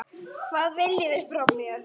Hvað viljið þið frá mér?